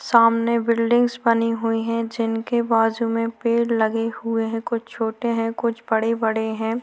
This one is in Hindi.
सामने बिल्डिंगस बनी हुई है जिनके बाजू में पेड़ लगे हुए है कुछ छोटे है कुछ बड़े बड़े है।